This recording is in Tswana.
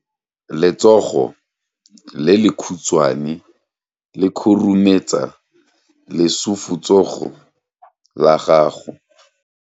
Letsogo le lekhutshwane le khurumetsa lesufutsogo la gago.